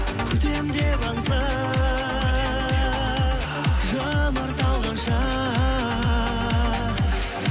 күтемін деп аңса жанар талғанша